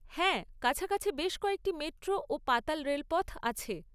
হ্যাঁ, কাছাকাছি বেশ কয়েকটি মেট্রো ও পাতাল রেলপথ আছে।